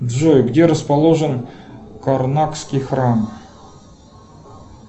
джой где расположен карнакский храм